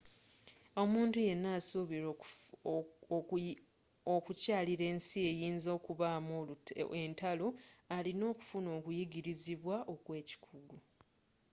omuntu yenna asuubira okukyalira ensi eyinza okubaamu entalo alina okufuna okuyigirizibwa okwekikugu